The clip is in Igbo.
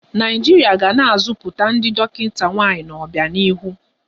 Naijiria ga na-azọpụta ndị dọkịta nwaanyị n'ọbianihu.